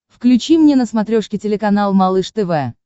включи мне на смотрешке телеканал малыш тв